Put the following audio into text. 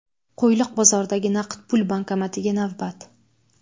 Qo‘yliq bozoridagi naqd pul bankomatiga navbat.